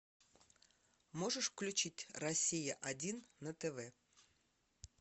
можешь включить россия один на тв